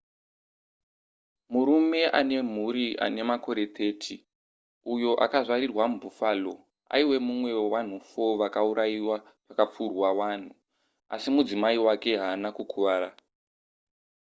murume ane mhuri ane makore 30 uyo akazvarirwa mubuffalo aive mumwe wevanhu 4 vakaurayiwa pakapfurwa vanhu asi mudzimai wake haana kukuvara